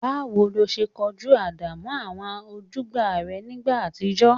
Báwo lo ṣe kojú ìdààmú àwọn ojúgbà rẹ nígbà àtijọ́?